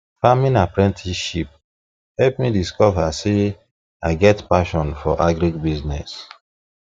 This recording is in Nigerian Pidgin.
farming apprenticeship help me me discover say i get passion for agribusiness